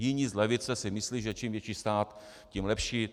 Jiní z levice si myslí, že čím větší stát, tím lepší.